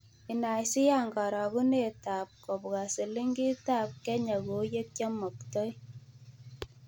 Inaisiiyaan karogunetap gbp kobwa silingitap Kenya kou yekyaamoktoi